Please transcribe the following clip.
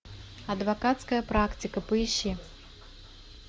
адвокатская практика поищи